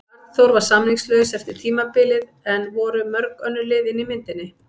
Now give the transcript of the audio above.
Arnþór var samningslaus eftir tímabilið en voru mörg önnur lið inni í myndinni?